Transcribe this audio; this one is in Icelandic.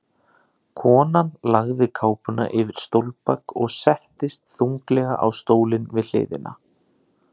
Konan lagði kápuna yfir stólbak og settist þunglega á stólinn við hliðina.